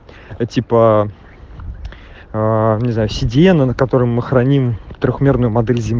а типа не знаю седина на котором мы храним в трёхмерную